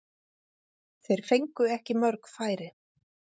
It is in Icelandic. Þeir fengu ekki mörg færi.